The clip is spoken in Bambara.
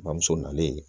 Bamuso nalen